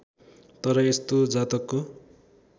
तर यस्तो जातकको